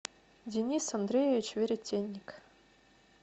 денис андреевич веретенник